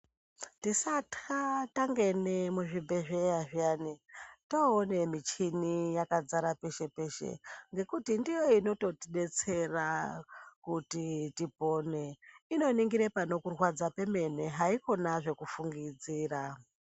Tisatya, tangene muzvibhedhlera zviyani taone michini yakadzara peshe peshe ngekuti ndiyo inototidetsera kuti tipone panokurwadza pemene haikhona zvekufungidzira.